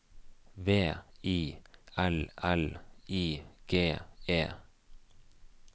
V I L L I G E